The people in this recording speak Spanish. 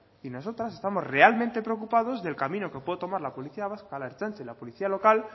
y nosotras estamos realmente preocupados del camino que puede tomar la policía vasca la ertzaintza y la policía local